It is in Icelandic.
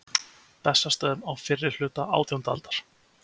Bessastöðum á fyrri hluta átjándu aldar.